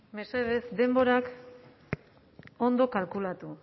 mesedez denborak ondo kalkulatu